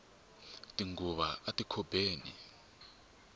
tinghuvu ti ana ati khobeni